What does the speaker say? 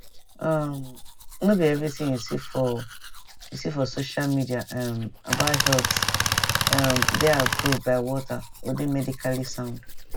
um no be everything you see for you see for social media um about health um dey approved by walter or dey medically sound